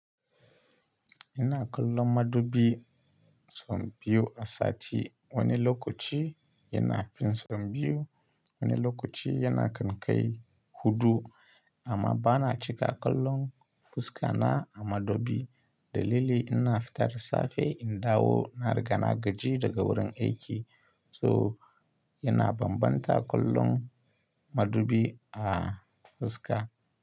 Ina kallon madubi sau biyu a sati. Wani lokaci yana fin sau biyu, wani lokaci yana kankai huɗu amma bana cika kallon fuska na a madubi. Dalili ina fita da safe in dawo na riga na gaji daga wurin aiki so yana bambanta kallon madubi a fuska.